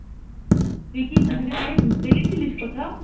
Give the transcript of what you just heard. তুই কি কিছুদিন আগে ঘুরতে গেছিলিস কোথাও?